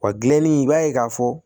Wa gilanni i b'a ye k'a fɔ